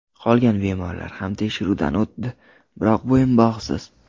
Qolgan bemorlar ham tekshiruvdan o‘tdi, biroq bo‘yinbog‘siz.